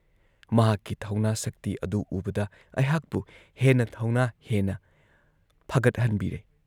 ꯃꯍꯥꯛꯀꯤ ꯊꯧꯅꯥ ꯁꯛꯇꯤ ꯑꯗꯨ ꯎꯕꯗ ꯑꯩꯍꯥꯛꯄꯨ ꯍꯦꯟꯅ ꯊꯧꯅꯥ ꯍꯦꯟꯅ ꯐꯒꯠꯍꯟꯕꯤꯔꯦ ꯫